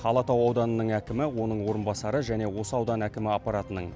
алатау ауданының әкімі оның орынбасары және осы аудан әкімі аппаратының